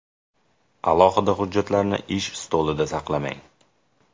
Alohida hujjatlarni ish stolida saqlamang.